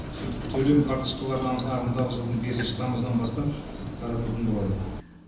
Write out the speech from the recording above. төлем карточкалары ағым ағымдағы жылдың бесінші тамызынан бастап таратылатын болады